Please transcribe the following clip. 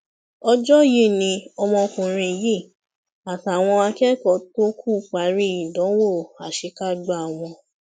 ọjọ yìí ni ọmọkùnrin yìí àtàwọn akẹkọọ tó kù parí ìdánwò àṣekágbá wọn